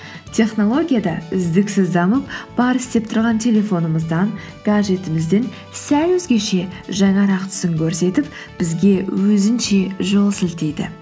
технология да үздіксіз дамып бар істеп тұрған телефонымыздан гаджетімізден сәл өзгеше жаңарақ түсін көрсетіп бізге өзінше жол сілтейді